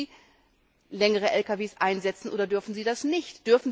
Dürfen sie längere Lkw einsetzen, oder dürfen sie das nicht?